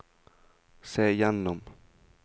se gjennom